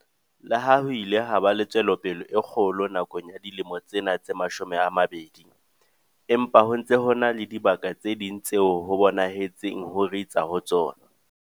Le ha ho ile ha ba le tswelopele e kgolo nakong ya dilemo tsena tse mashome a mabedi, empa ho ntse ho na le dibaka tse ding tseo ho bonahetseng ho ritsa ho tsona.